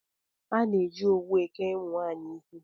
A na-eji owu eke ụmụnwaanyị isi